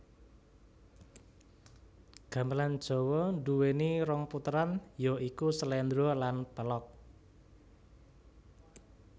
Gamelan Jawa duwéni rong puteran ya iku sléndra lan pélog